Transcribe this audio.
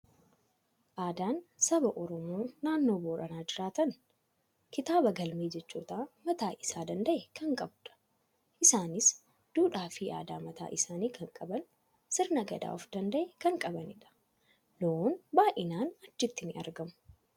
Aadaan saba Oromoo naannoo Booranaa jiraatan kitaaba galmee jechootaa mataa isaa danda'e kan qabudha. Isaanis duudhaa fi aadaa mataa isaanii kan qaban; sirna gadaa of danda'e kan qabanidha. Loon baay'inaan achitti ni argamu.